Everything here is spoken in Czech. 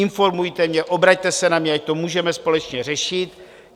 Informujte mě, obraťte se na mě, ať to můžeme společně řešit.